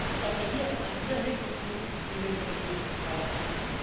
Ich appelliere an Ihr Mitgefühl, liebe Kollegen im Parlament.